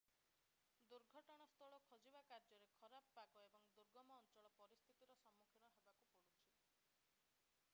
ଦୁର୍ଘଟଣସ୍ଥଳ ଖୋଜିବା କାର୍ଯ୍ୟରେ ଖରାପ ପାଗ ଏବଂ ଦୁର୍ଗମ ଅଞ୍ଚଳ ପରିସ୍ଥିତିର ସମ୍ମୁଖୀନ ହେବାକୁ ପଡୁଛି